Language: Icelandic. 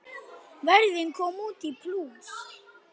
Ferðin kom út í plús.